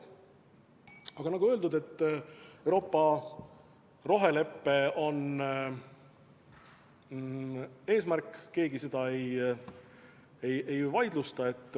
Aga nagu öeldud, et Euroopa rohelepe on eesmärk, keegi seda ei vaidlusta.